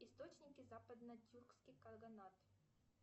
источники западно тюркский кагонат